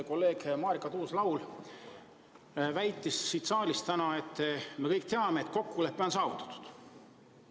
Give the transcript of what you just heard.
Kolleeg Marika Tuus-Laul väitis täna siin saalis, et me kõik teame, et kokkulepe on saavutatud.